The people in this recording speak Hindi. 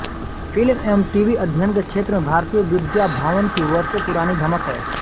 फिल्म एवं टीवी अध्ययन के क्षेत्र में भारतीय विद्या भवन की वर्षों पुरानी धमक है